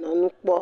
le nu kpɔ